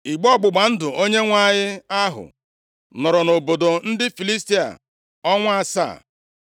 Igbe ọgbụgba ndụ Onyenwe anyị ahụ nọrọ nʼobodo ndị Filistia ọnwa asaa.